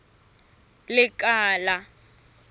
lekala